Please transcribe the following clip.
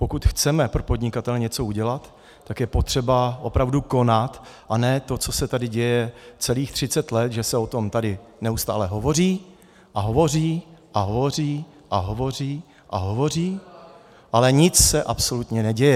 Pokud chceme pro podnikatele něco udělat, tak je potřeba opravdu konat, a ne to, co se tady děje celých 30 let, že se o tom tady neustále hovoří a hovoří a hovoří a hovoří a hovoří, ale nic se absolutně neděje.